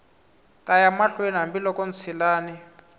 ta ya mahlweni hambiloko ntshilani